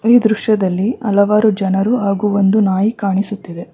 ಈ ದೃಶ್ಯದಲ್ಲಿ ಹಲವಾರು ಜನರು ಹಾಗೂ ಒಂದು ನಾಯಿ ಕಾಣಿಸುತ್ತಿದೆ.